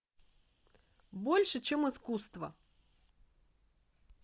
больше чем искусство